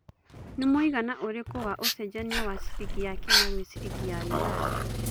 nĩ mũigana ũrĩkũ wa ũcenjanĩa wa ciringi ya Kenya gwĩ ciringi ya Uganda